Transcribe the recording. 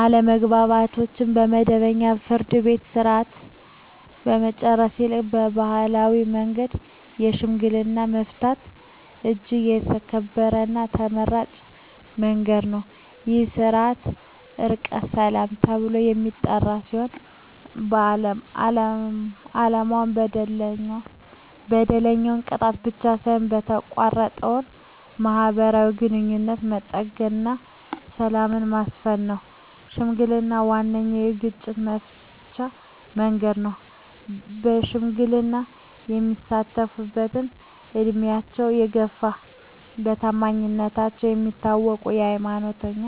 አለመግባባቶችን በመደበኛው የፍርድ ቤት ሥርዓት ከመጨረስ ይልቅ በባሕላዊ መንገድ በሽምግልና መፍታት እጅግ የተከበረና ተመራጭ መንገድ ነው። ይህ ሥርዓት "ዕርቀ ሰላም" ተብሎ የሚጠራ ሲሆን፣ ዓላማው በደለኛውን መቅጣት ብቻ ሳይሆን የተቋረጠውን ማኅበራዊ ግንኙነት መጠገንና ሰላምን ማስፈን ነው። ሽምግልና ዋነኛው የግጭት መፍቻ መንገድ ነው። በሽምግልና የሚሳተፍትም ዕድሜያቸው የገፋ፣ በታማኝነታቸው የሚታወቁ፣ ሃይማኖተኛ